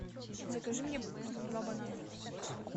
закажи мне два банана